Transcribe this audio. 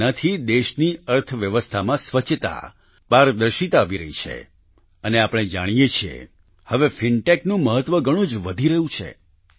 તેનાથી દેશની અર્થવ્યવસ્થામાં સ્વચ્છતા પારદર્શિતા આવી રહી છે અને આપણે જાણીએ છીએ હવે ફિનટેક નું મહત્વ ઘણું જ વધી રહ્યું છે